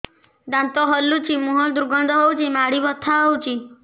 ଦାନ୍ତ ହଲୁଛି ମୁହଁ ଦୁର୍ଗନ୍ଧ ହଉଚି ମାଢି ବଥା ହଉଚି